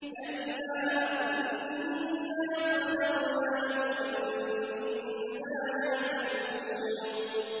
كَلَّا ۖ إِنَّا خَلَقْنَاهُم مِّمَّا يَعْلَمُونَ